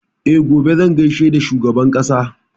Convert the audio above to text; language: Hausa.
E, gobe zan gaishe da shugaban ƙasa.